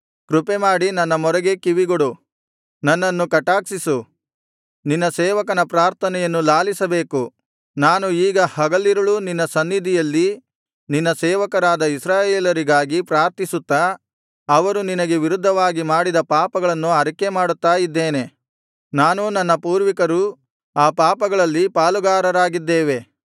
ಕೃಪೆಮಾಡಿ ನನ್ನ ಮೊರೆಗೆ ಕಿವಿಗೊಡು ನನ್ನನ್ನು ಕಟಾಕ್ಷಿಸು ನಿನ್ನ ಸೇವಕನ ಪ್ರಾರ್ಥನೆಯನ್ನು ಲಾಲಿಸಬೇಕು ನಾನು ಈಗ ಹಗಲಿರುಳೂ ನಿನ್ನ ಸನ್ನಿಧಿಯಲ್ಲಿ ನಿನ್ನ ಸೇವಕರಾದ ಇಸ್ರಾಯೇಲರಿಗಾಗಿ ಪ್ರಾರ್ಥಿಸುತ್ತಾ ಅವರು ನಿನಗೆ ವಿರುದ್ಧವಾಗಿ ಮಾಡಿದ ಪಾಪಗಳನ್ನು ಅರಿಕೆ ಮಾಡುತ್ತಾ ಇದ್ದೇನೆ ನಾನೂ ನನ್ನ ಪೂರ್ವಿಕರೂ ಆ ಪಾಪಗಳಲ್ಲಿ ಪಾಲುಗಾರರಾಗಿದ್ದೇವೆ